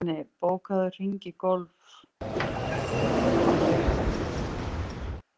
Svenni, bókaðu hring í golf á miðvikudaginn.